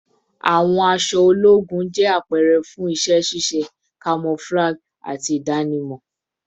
Awọn aṣọ ologun jẹ apẹrẹ fun iṣẹ ṣiṣe, camouflage, ati idanimọ